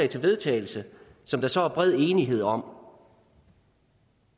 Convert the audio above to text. til vedtagelse som der så er bred enighed om